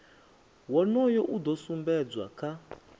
wonoyo u do sumbedzwa kha